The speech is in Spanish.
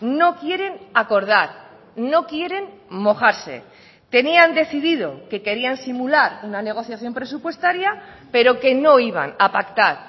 no quieren acordar no quieren mojarse tenían decidido que querían simular una negociación presupuestaria pero que no iban a pactar